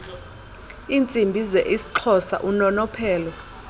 iintsimbi zeisxhosa unonophelo